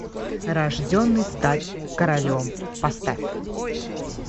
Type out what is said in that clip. рожденный стать королем поставь